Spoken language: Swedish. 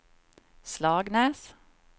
Slagnäs